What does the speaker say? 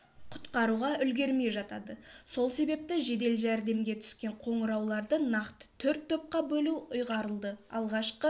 құтқаруға үлгермей жатады сол себепті жедел жәрдемге түскен қоңырауларды нақты төрт топқа бөлу ұйғарылды алғашқы